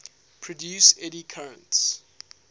produce eddy currents